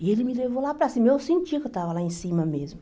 E ele me levou lá para cima, eu sentia que eu estava lá em cima mesmo.